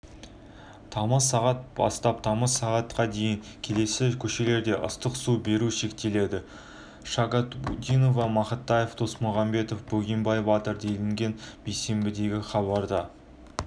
тамыз сағат бастап тамыз сағат дейін келесі көшелерде ыстық су беру шектеледі шагабутдинова мақатаев досмухамедов бөгенбай батыр делінген бейсенбідегі хабарда